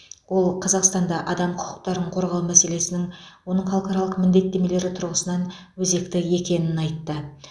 ол қазақстанда адам құқықтарын қорғау мәселесінің оның халықаралық міндеттемелері тұрғысынан өзекті екенін айтты